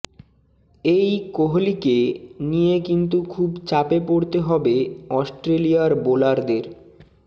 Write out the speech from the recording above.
এই কোহলিকে নিয়ে কিন্তু খুব চাপে পড়তে হবে অস্ট্রেলিয়ার বোলারদের